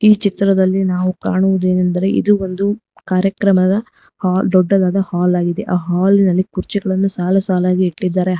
ಈ ಚಿತ್ರದಲ್ಲಿ ನಾವು ಕಾಣುವುದೆಂದರೆ ಇದು ಒಂದು ಕಾರ್ಯಕ್ರಮದ ಹಾಲ್ ದೊಡ್ಡದಾದ ಹಾಲಾಗಿದೆ ಆ ಹಾಲಿನಲ್ಲಿ ಕುರ್ಚಿಗಳನ್ನು ಸಾಲು ಸಾಲಾಗಿ ಇಟ್ಟಿದ್ದಾರೆ.